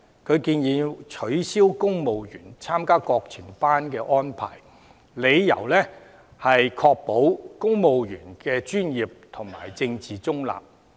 他建議"取消現行要求公務員參加國情班的安排"，理由是"確保公務員的政治中立及專業"。